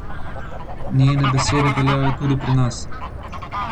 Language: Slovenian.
Njene besede veljajo tudi pri nas.